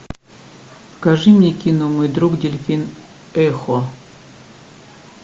покажи мне кино мой друг дельфин эхо